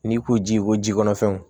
N'i ko ji ko jikɔnɔ fɛnw